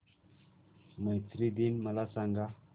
मैत्री दिन मला सांगा